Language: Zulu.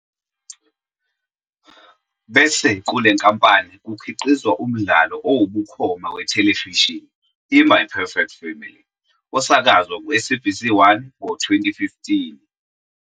Bese kule nkampani kukhiqizwa umdlalo owubukhoma wethelevishini iMy "Perfect Family", osakazwa kuSABC1 ngo-2015.